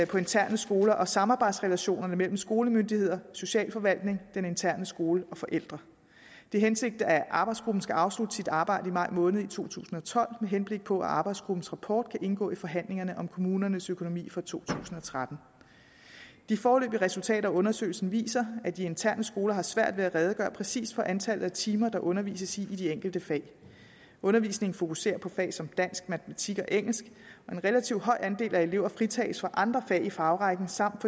på interne skoler og samarbejdsrelationerne mellem skolemyndigheder socialforvaltning den interne skole og forældre det er hensigten at arbejdsgruppen skal afslutte sit arbejde i maj måned i to tusind og tolv med henblik på at arbejdsgruppens rapport kan indgå i forhandlingerne om kommunernes økonomi for to tusind og tretten de foreløbige resultater af undersøgelsen viser at de interne skoler har svært ved at redegøre præcis for antallet af timer der undervises i i de enkelte fag undervisningen fokuserer på fag som dansk matematik og engelsk og en relativt høj andel af elever fritages for andre fag i fagrækken samt